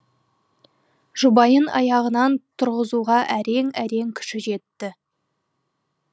жұбайын аяғынан тұрғызуға әрең әрең күші жетті